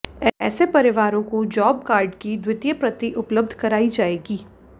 ऐसे परिवारों को जॉब कार्ड की द्वितीय प्रति उपलब्ध कराई जाएगी